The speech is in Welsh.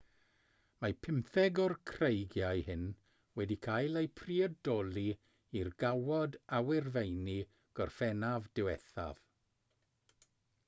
mae pymtheg o'r creigiau hyn wedi cael eu priodoli i'r gawod awyrfeini gorffennaf diwethaf